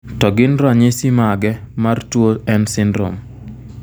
To gin ranyisi mage mar tuo N syndrome.